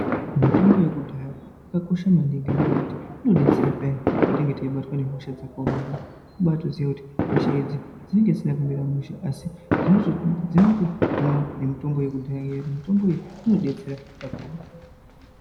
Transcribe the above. Mitombo yekudhaya yakakosha maningi ngenyaya yekuti inodetsera payani patinenge teibatwa nehosha dzakaomarara. Kubaatoziya kuti hosha idzi dzinenge dzisina kumira mushe asi dzinoto dzinotohinwa mitombo yekudhaya iyani. Mitomboyi inodetsera kakurutu.